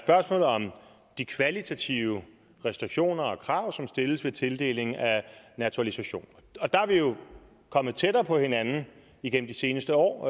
spørgsmålet om de kvalitative restriktioner og krav som stilles ved tildeling af naturalisation og der er vi jo kommet tættere på hinanden igennem de seneste år